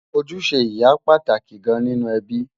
ojúṣe ìyá pàtàkì gán nínú ẹbí